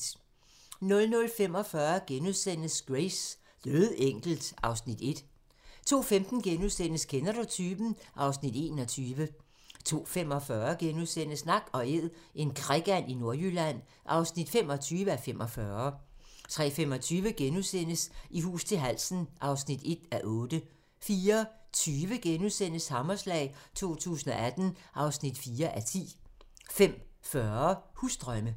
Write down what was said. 00:45: Grace: Dødenkelt (Afs. 1)* 02:15: Kender du typen? (Afs. 21)* 02:45: Nak & Æd - en krikand i Nordjylland (25:45)* 03:25: I hus til halsen (1:8)* 04:20: Hammerslag 2018 (4:10)* 05:40: Husdrømme